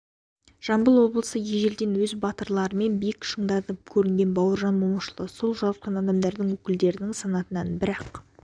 жамбыл облысы ежелден өз батырларымен биік шыңдардан көрінген бауыржан момышұлы сол жарқын адамдардың өкілдерінің санатынан бірақ